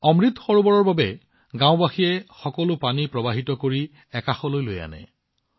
অমৃত সৰোবৰ নিৰ্মাণ কৰিবলৈ গাওঁখনৰ মানুহে সকলো পানী চেনেলাইজ কৰি এটা দিশলৈ লৈ আহিছিল